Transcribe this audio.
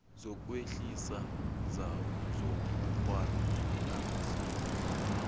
ukuphuhlisa zobukghwari namasiko